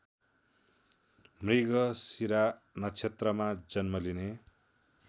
मृगशिरा नक्षत्रमा जन्मलिने